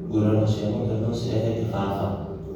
ngũraro cia mũtwe no cirehe kĩbaba